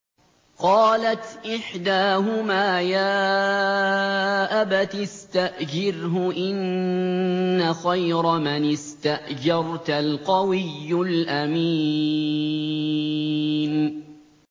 قَالَتْ إِحْدَاهُمَا يَا أَبَتِ اسْتَأْجِرْهُ ۖ إِنَّ خَيْرَ مَنِ اسْتَأْجَرْتَ الْقَوِيُّ الْأَمِينُ